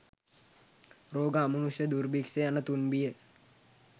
රෝග, අමනුෂ්‍ය, දුර්භික්‍ෂ යන තුන් බිය